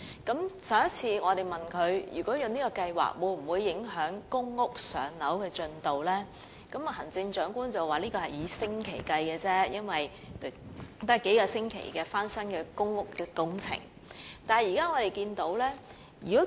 在行政長官答問會上，我們問她這項計劃會否影響公屋的"上樓"輪候時間，她表示相關影響只是以星期計，因為翻新公屋單位的工作只需數星期時間。